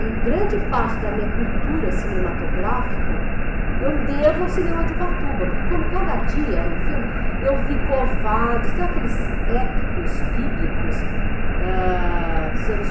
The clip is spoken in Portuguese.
E grande parte da minha cultura cinematográfica, eu devo ao cinema de Ubatuba, porque como cada dia era um filme, eu vi Covarde, sabe aqueles épicos bíblicos, ah, dos anos